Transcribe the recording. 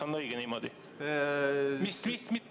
Kas on õige niimoodi?